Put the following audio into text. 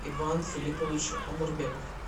иван филиппович амурбеков